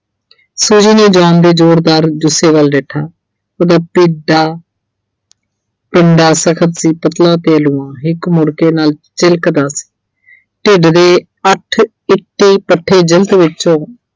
ਫਿਰ ਉਹਨੇ John ਦੇ ਜੋਰਦਾਰ ਜੁੱਸੇ ਵੱਲ ਦੇਖਿਆ। ਉਹਦਾ ਪਿੱਡਾ ਅਹ ਪਿੰਡਾ ਸਖਤ ਸੀ ਪਤਲਾ ਤੇ ਲੂਆਂ ਹਿੱਕ ਮੁੜਕੇ ਨਾਲ ਚਿਲਕਦਾ ਸੀ। ਢਿੱਡ ਦੇ ਅੱਠ ਵਿੱਚੋਂ